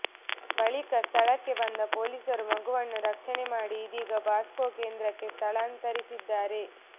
ಬಳಿಕ ಸ್ಥಳಕ್ಕೆ ಬಂದ ಪೊಲೀಸರು ಮಗುವನ್ನು ರಕ್ಷಣೆ ಮಾಡಿ ಇದೀಗ ಬಾಸ್ಕೊ ಕೇಂದ್ರಕ್ಕೆ ಸ್ಥಳಾಂತರಿಸಿದ್ದಾರೆ